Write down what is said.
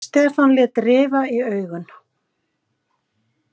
Stefán lét rifa í augun.